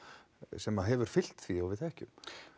sem hefur fylgt því og við þekkjum